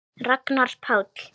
Ragnar Páll.